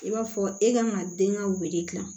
I b'a fɔ e kan ka den ka wele dilan